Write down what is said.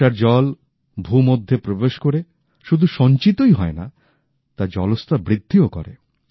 বর্ষার জল ভূমধ্যে প্রবেশ করে শুধু সঞ্চিতই হয় না তা জলস্তর বৃদ্ধিও করে